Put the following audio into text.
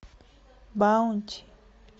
баунти